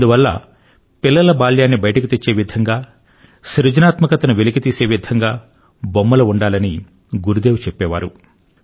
అందువల్ల పిల్లల బాల్యాన్ని బయటకు తెచ్చే విధంగా సృజనాత్మకతను వెలికితీసే విధంగా బొమ్మలు ఉండాలని గురుదేవులు చెప్పే వారు